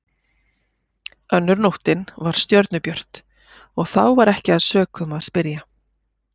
Önnur nóttin var stjörnubjört og þá var ekki að sökum að spyrja.